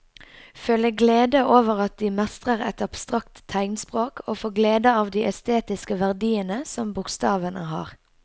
Føle glede over at de mestrer et abstrakt tegnspråk og få glede av de estetiske verdiene som bokstavene har.